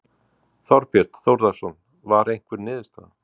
Þorbjörn Þórðarson: Var einhver niðurstaða?